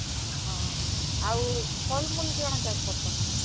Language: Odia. ହଁ, ଆଉ ଫଲ୍, ମୁଲ୍ କାଣା ଚାଷ୍ କରସନ୍ ହେନ?